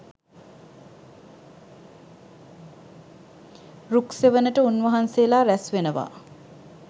රුක්සෙවණට උන්වහන්සේලා රැස් වෙනවා.